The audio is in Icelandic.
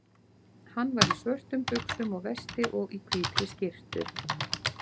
Hann var í svörtum buxum og vesti og í hvítri skyrtu.